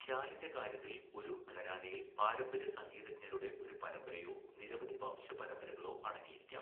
ഖ്യാലിന്റെ കാര്യത്തിൽ ഒരു ഘരാനയിൽ പാരമ്പര്യ സംഗീതജ്ഞരുടെ ഒരു പരമ്പരയോ നിരവധി വംശപരമ്പരകളോ അടങ്ങിയിരിക്കാം.